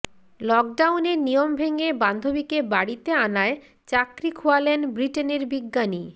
লকডাউনে নিয়ম ভেঙে বান্ধবীকে বাড়িতে আনায় চাকরি খোয়ালেন ব্রিটেনের বিজ্ঞানী